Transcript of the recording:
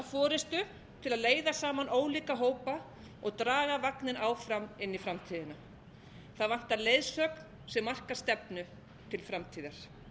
forustu til að leiða saman ólíka hópa og draga vagninn áfram inn í framtíðina það vantar leiðsögn sem markar stefnu til framtíðar